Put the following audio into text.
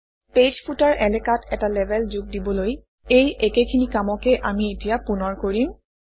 page footer এলেকাত এটা label যোগ দিবলৈ এই একেখিনি কামকে আমি এতিয়া পুনৰ কৰিম